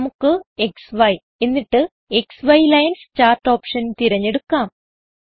നമുക്ക് ക്സി എന്നിട്ട് X lines chart option തിരഞ്ഞെടുക്കാം